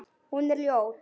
Hún er ljót.